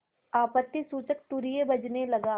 आपत्तिसूचक तूर्य बजने लगा